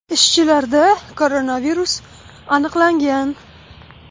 Ishchilarda koronavirus aniqlangan.